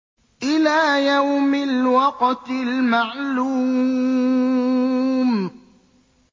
إِلَىٰ يَوْمِ الْوَقْتِ الْمَعْلُومِ